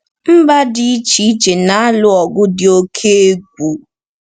Mba dị iche iche na-alụ ọgụ dị oke egwu.